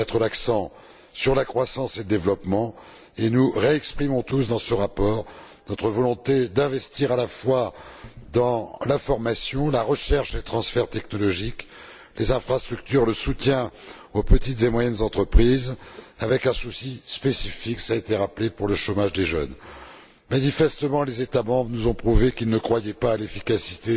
Il doit mettre l'accent sur la croissance et le développement, et nous exprimons tous à nouveau dans ce rapport notre volonté d'investir, à la fois, dans la formation, la recherche et le transfert technologique, les infrastructures, le soutien aux petites et moyennes entreprises avec un souci spécifique cela a été rappelé pour le chômage des jeunes. Manifestement, les États membres nous ont prouvé qu'ils ne croyaient pas à l'efficacité